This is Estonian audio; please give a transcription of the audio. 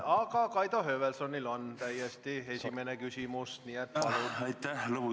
Aga Kaido Höövelsonil on täiesti esimene küsimus, nii et palun!